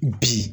Bi